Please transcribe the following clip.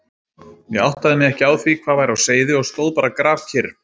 Ég áttaði mig ekki á því hvað væri á seyði og stóð bara grafkyrr.